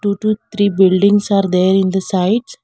Total three bulidings are there in the side.